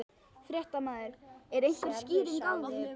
Fréttamaður: Er einhver skýring á því?